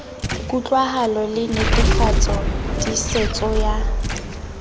kutlwahalo le netefatso tiisetso ya